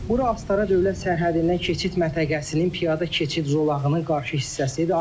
Bura Astara Dövlət sərhədindən keçid məntəqəsinin piyada keçid zolağının qarşı hissəsidir.